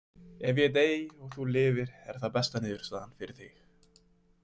Ef ég dey og þú lifir er það besta niðurstaðan fyrir þig.